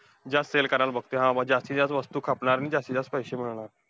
जास्त sell करायला बघतोय, हा जास्तीत जास्त वस्तू खपणार आणि जास्तीत जास्त पैसे मिळवणार.